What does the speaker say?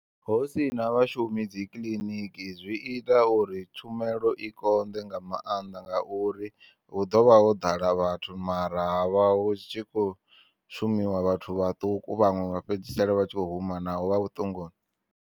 Husina vhashumi dzikiḽiniki zwi ita uri tshumelo i konḓe nga maanḓa ngauri hu ḓovha ho ḓala vhathu mara havha hu tshi kho shumiwa vhathu vhaṱuku vhaṅwe vha fhedzisela vha tshi kho huma naho vha vhuṱunguni.